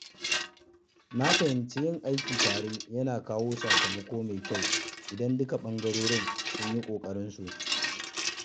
Na fahimci yin aiki tare yana kawo sakamako mai kyau idan dukkan ɓangarori sun yi ƙoƙarinsu.